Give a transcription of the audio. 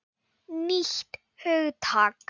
Nýtt hugtak!